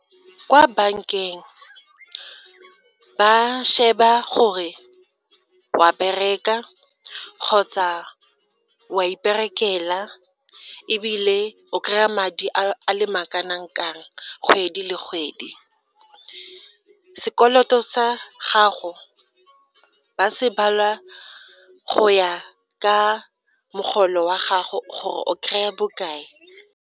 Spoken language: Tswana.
kwa bankeng ba sheba gore wa bereka kgotsa wa iperekela ebile o kry-a madi a ma kana ka eng kgwedi le kgwedi. Sekoloto sa gago ba se bala go ya ka mogolo wa gago gore o kry-a bokae.